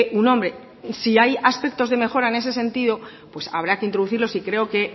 un hombre y si hay aspectos de mejora en ese sentido pues habrá que introducirlos y creo que